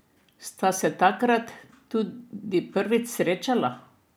Sta se takrat tudi prvič srečala?